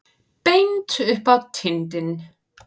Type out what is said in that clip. Beint upp á tindinn.